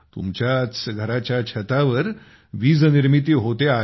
तुमच्याच घराच्या छतावर वीजनिर्मिती होते आहे